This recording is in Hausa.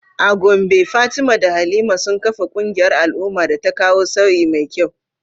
A Gombe Fatima da Halima sun kafa kungiyar al’umma da ta kawo sauyi mai kyau.